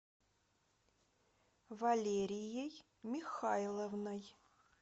валерией михайловной